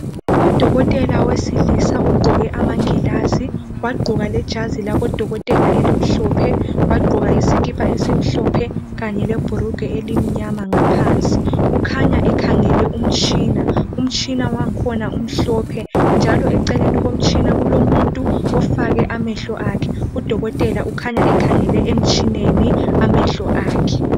Udokotela wesilisa ugqoke amagilazi wagqoka lejazi labodokotela elimhlophe wagqoka isikipa esimhlophe kanye lebhulugwe elimnyama ngaphansi ukhanya ekhangele umtshina, umtshina wakhona umhlophe njalo eceleni komtshina kulomuntu ofake amehlo akhe udokotela ukhanya ekhangele emtshineni amehlo akhe.